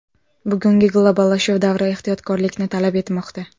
Bugungi globallashuv davri ehtiyotkorlikni talab etmoqda.